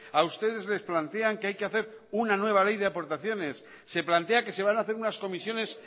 a ustedes les plantean que hay que hacer una nueva ley de aportaciones se plantea que se van a hacer unas comisiones